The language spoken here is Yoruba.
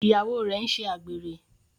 Ìyàwó rẹ n'se àgbèrè.